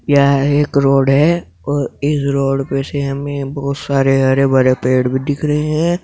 यह एक रोड है इस रोड पर बहुत सारे हरे भरे पेड़ भीं दिख रहे है।